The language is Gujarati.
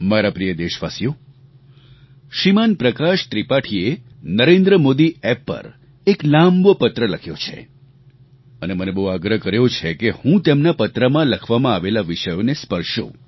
મારા પ્રિય દેશવાસીઓ શ્રીમાન પ્રકાશ ત્રિપાઠીએ NarendraModiApp પર એક લાંબો પત્ર લખ્યો છે અને મને બહુ આગ્રહ કર્યો છે કે હું તેમના પત્રમાં લખવામાં આવેલા વિષયોને સ્પર્શું